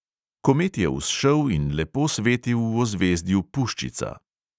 Komet je vzšel in lepo svetil v ozvezdju puščica.